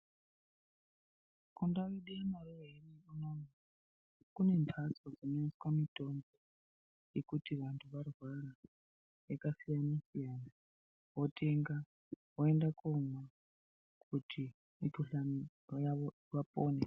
Kundau yekwedu uno uno, kune mbatso dzinoiswa mitombo yekuti vantu varwara yakasiyana siyana, wotenga woenda komwa kuti mikuhlane yavo vapone.